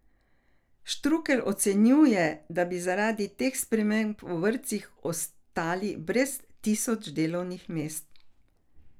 Štrukelj ocenjuje, da bi zaradi teh sprememb v vrtcih ostali brez tisoč delovnih mest.